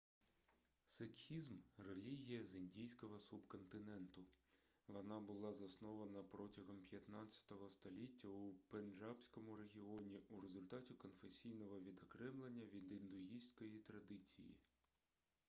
сикхізм релігія з індійського субконтиненту вона була заснована протягом 15 століття у пенджабському регіоні у результаті конфесійного відокремлення від індуїстської традиції